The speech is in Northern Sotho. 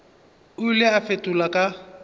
o ile a fetola ka